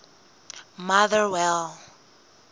motherwell